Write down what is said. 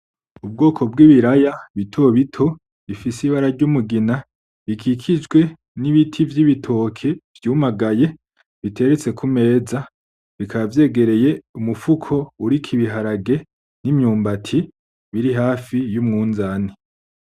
Ubwoko bw'Ibiraya bitobito bifise Ibara ry'Umugina, bikikijwe n'Ibiti vy'Igitoke vy'umagaye biteretse kumeza bikaba vyegereye umufuko uriko Ibiharage, n'Imyumbati biri hafi y'umunzane.